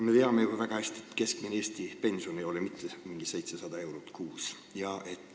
Me teame ju väga hästi, et keskmine Eesti pension ei ole mitte 700 eurot kuus.